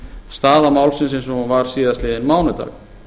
staða málsins eins og hún var síðastliðinn mánudag